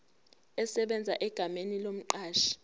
esebenza egameni lomqashi